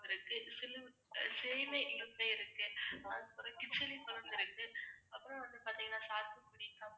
இருக்கு, கிச்சிலிப்பழம் இருக்கு, அப்புறம் வந்து பாத்தீங்கன்னா சாத்துக்குடி, கமலா